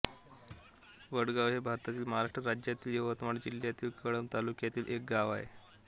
वडगाव हे भारतातील महाराष्ट्र राज्यातील यवतमाळ जिल्ह्यातील कळंब तालुक्यातील एक गाव आहे